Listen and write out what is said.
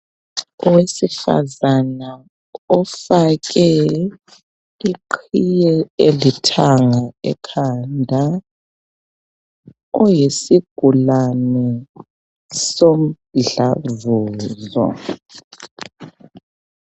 Owesifazana ofake iqhiye elithanga ekhanda uyisigulane somdlavuzo.